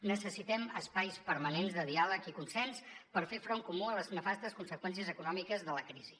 necessitem espais permanents de diàleg i consens per fer front comú a les nefastes conseqüències econòmiques de la crisi